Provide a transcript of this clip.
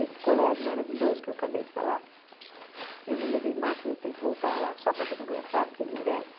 Esse colégio maravilhoso que eu acabei de falar, eu não levei máquina, eu tenho que voltar lá só para fotografar, porque ele merece.